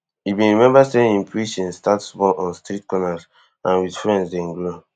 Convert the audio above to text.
e bin remember say im preaching start small on street corners and wit friends den grow